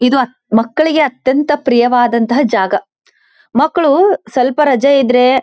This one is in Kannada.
ಇದು ಮಕ್ಕಳಿಗೆ ಅತ್ಯಂತ ಪ್ರಿಯವಾದಂತಹ ಜಾಗ ಮಕ್ಕಳು ಸ್ವಲ್ಪ ರಜೆ ಇದ್ರೆ.